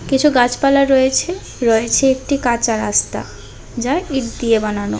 কিছু গাছপালা রয়েছে রয়েছে একটি কাঁচা রাস্তা যা ইট দিয়ে বানানো।